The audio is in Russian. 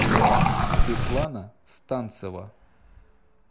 светлана станцева